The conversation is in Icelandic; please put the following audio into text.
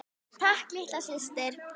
Takk litla systir.